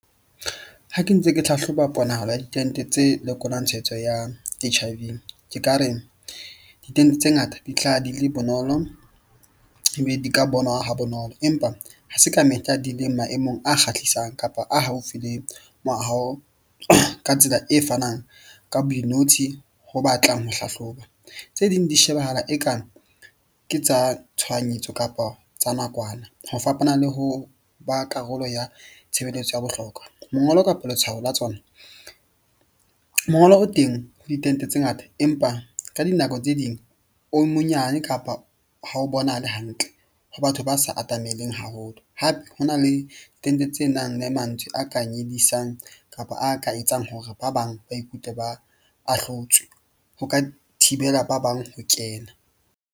Ha ke ntse ke hlahloba ponahalo ya ditente tse lekolwang tshwaetso ya H_I_V ke ka re ditente tse ngata di tla di le bonolo, ebe di ka bonwa ha bonolo. Empa ha se ka mehla di leng maemong a kgahlisang kapa a haufi le moaho. Ka tsela e fanang ka boinotshi ho batlang ho hlahloba. Tse ding di shebahala ekang ke tsa tshohanyetso kapa tsa nakwana ho fapana le ho ba karolo ya tshebeletso ya bohlokwa. Mongolo kapa letshwao la tsona mongolo o teng ho ditente tse ngata, empa ka dinako tse ding o monyane kapa ha o bonahale hantle. Ho batho ba sa atameleng haholo, hape ho na le tente tse nang le mantswe. A ka nyedisang kapa a ka etsang hore ba bang ba ikutlwe ba ahlotswe, ho ka thibela ba bang ho kena.